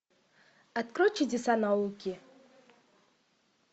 открой чудеса науки